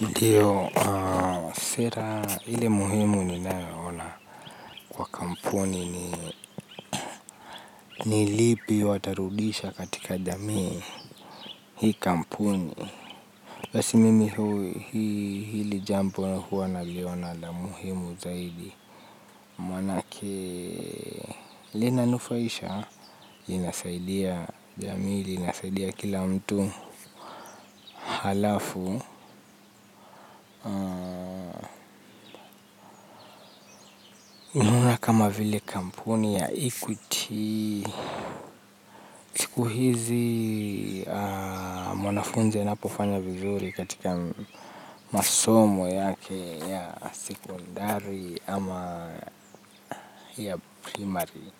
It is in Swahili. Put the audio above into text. Ndio, sera ile muhimu ninaona kwa kampuni ni nilipi watarudisha katika jamii hii kampuni. Basi mimi hui hili jambo huwa naliona la muhimu zaidi. Manake lina nufaisha, inasaidia jamii, inasaidia kila mtu. Halafu, kama vile kampuni ya equity siku hizi mwanafunzi anapo fanya vizuri katika masoma yake ya sekondari ama ya primary